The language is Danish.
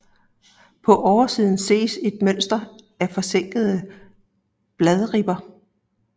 På oversiden ses et mønster af forsænkede bladribber